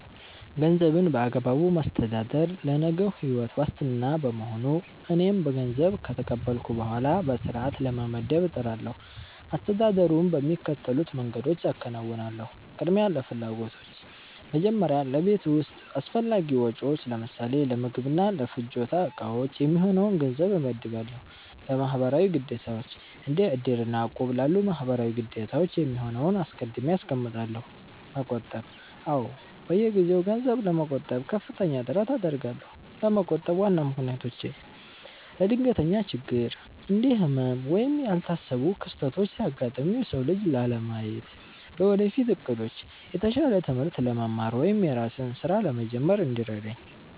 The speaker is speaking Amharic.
ገንዘብን በአግባቡ ማስተዳደር ለነገው ሕይወት ዋስትና በመሆኑ፣ እኔም ገንዘብ ከተቀበልኩ በኋላ በሥርዓት ለመመደብ እጥራለሁ። አስተዳደሩን በሚከተሉት መንገዶች አከናውናለሁ፦ ቅድሚያ ለፍላጎቶች፦ መጀመሪያ ለቤት ውስጥ አስፈላጊ ወጪዎች (ለምሳሌ ለምግብና ለፍጆታ ዕቃዎች) የሚሆነውን ገንዘብ እመድባለሁ። ለማህበራዊ ግዴታዎች፦ እንደ "እድር" እና "እቁብ" ላሉ ማህበራዊ ግዴታዎች የሚሆነውን አስቀድሜ አስቀምጣለሁ። መቆጠብ፦ አዎ፣ በየጊዜው ገንዘብ ለመቆጠብ ከፍተኛ ጥረት አደርጋለሁ። ለመቆጠብ ዋና ምክንያቶቼ፦ ለድንገተኛ ችግር፦ እንደ ህመም ወይም ያልታሰቡ ክስተቶች ሲያጋጥሙ የሰው እጅ ላለማየት። ለወደፊት ዕቅዶች፦ የተሻለ ትምህርት ለመማር ወይም የራስን ሥራ ለመጀመር እንዲረዳኝ።